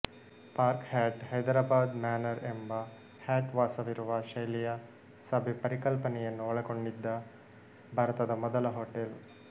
park Hyatt Hyderabad Manor ಎಂಬ Hyatt ವಾಸವಿರುವ ಶೈಲಿಯ ಸಭೆ ಪರಿಕಲ್ಪನೆಯನ್ನು ಒಳಗೊಂಡಿದ್ದ ಭಾರತದ ಮೊದಲ ಹೋಟೆಲ್